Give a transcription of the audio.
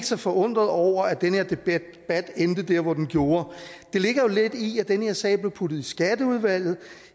så forundret over at den her debat endte der hvor den gjorde det ligger jo lidt i at den her sag bliver puttet i skatteudvalget